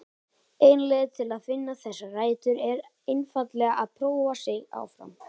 Ein leið til að finna þessar rætur er einfaldlega að prófa sig áfram.